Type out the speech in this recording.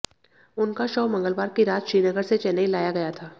उनका शव मंगलवार की रात श्रीनगर से चेन्नई लाया गया था